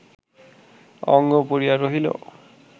অঙ্গ পড়িয়া রহিল